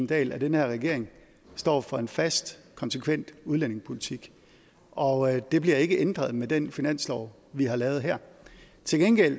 dahl at den her regering står for en fast konsekvent udlændingepolitik og det bliver ikke ændret med den finanslov vi har lavet her til gengæld